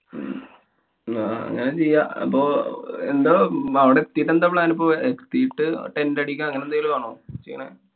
ന്നാ അങ്ങനെ ചെയ്യാം. അപ്പൊ എന്താ അവടെ എത്തിട്ടെന്താ plan ഇപ്പോ? എത്തിട്ട് tent അടിക്ക്യാ. അങ്ങനെന്തെലും ആണോ ചെയ്യണ്?